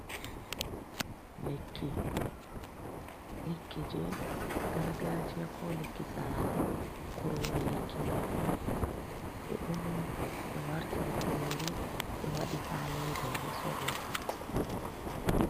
Lekki je gargajiya, ko lekki sare, kurori lekki mai on ɗo, ɓe uni ɓe wartiri kurori ɓe waɗi ha leda beɗo sorro.